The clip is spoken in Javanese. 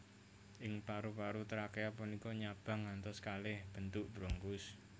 Ing paru paru trakea punika nyabang ngantos kalih bentuk bronkus